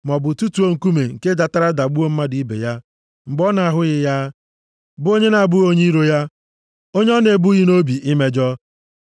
maọbụ tụtuo nkume nke datara dagbuo mmadụ ibe ya mgbe ọ na-ahụghị ya, bụ onye na-abụghị onye iro ya, onye ọ na-ebughị nʼobi imejọ,